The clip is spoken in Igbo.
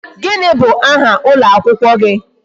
Gini bụ aha ụlọ akwụkwọ gị?